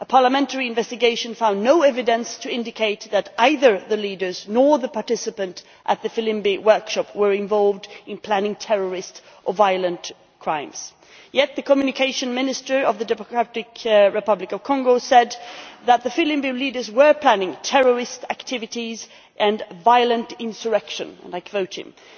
A parliamentary investigation found no evidence to indicate that either the leaders or the participants at the Filimbi workshop were involved in planning terrorist or violent crimes, yet the Communication Minister of the Democratic Republic of Congo said that the Filimbi leaders were planning ʽterrorist activitiesʼ and ʽviolent insurrectionʼ and I quote him.